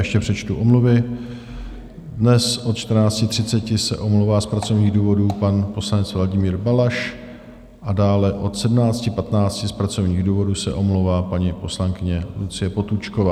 Ještě přečtu omluvy: dnes od 14.30 se omlouvá z pracovních důvodů pan poslanec Vladimír Balaš a dále od 17.15 z pracovních důvodů se omlouvá paní poslankyně Lucie Potůčková.